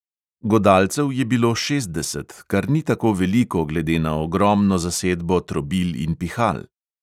Godalcev je bilo šestdeset, kar ni tako veliko glede na ogromno zasedbo trobil in pihal.